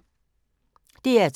DR2